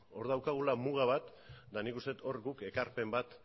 hor daukagula muga bat eta nik uste dut hor guk ekarpen bat